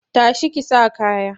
Ta shi ki sa kaya!